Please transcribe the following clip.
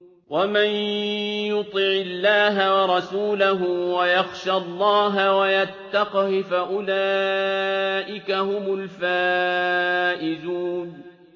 وَمَن يُطِعِ اللَّهَ وَرَسُولَهُ وَيَخْشَ اللَّهَ وَيَتَّقْهِ فَأُولَٰئِكَ هُمُ الْفَائِزُونَ